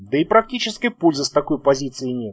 да и практической пользы с такой позиции нет